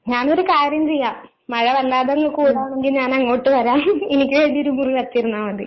ഞാനൊരു കാര്യം ചെയ്യാം മഴ വല്ലാതങ്ങ് കൂടുവാണെങ്കി ഞാൻ അങ്ങോട്ട് വരാം എനിക്ക് വേണ്ടി ഒരു മുറി വച്ചിരുന്നാ മതി.